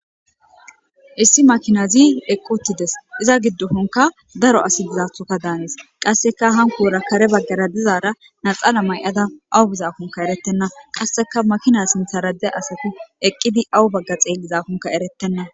Issi makinazi eqquttides. Iza giddofenkka daro asi dizathoka daanes. Qasseka hankoora kare baggara dizaara naxala may7ada awu bizaakonkka erettenna. Qasseka makina sinthara de7iya asati eqqidi awu bagga xeellizaakonkka erettenna.